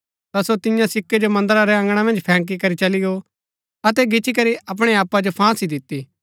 ता सो तियां सिक्कै जो मन्दरा रै अँगणा मन्ज फैंकी करी चली गो अतै गिच्ची करी अपणै आप जो फांसी दिती